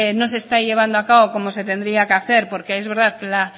no se está llevando a cabo como se tendría que hacer porque es verdad que la